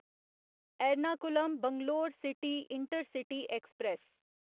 Ernakulam Bangalore city intercity express